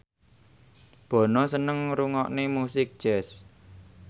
Bono seneng ngrungokne musik jazz